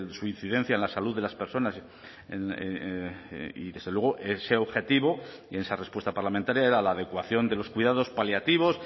su incidencia en la salud de las personas y desde luego ese objetivo y esa respuesta parlamentaria era la adecuación de los cuidados paliativos